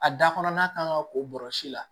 A da kɔnɔ n'a kan ka ko bɔrɛ la